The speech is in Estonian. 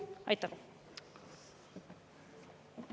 Aitäh!